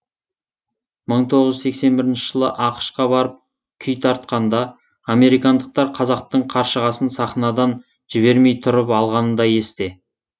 мың тоғыз жүз сексен бірінші жылы ақш қа барып күй тартқанда американдықтар қазақтың қаршығасын сахнадан жібермей тұрып алғаны да есте